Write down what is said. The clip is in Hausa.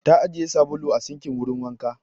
Ta ajiye sabulu a sinkin wurin wanka.